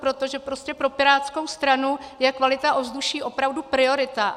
Proto, že prostě pro pirátskou stranu je kvalita ovzduší opravdu priorita.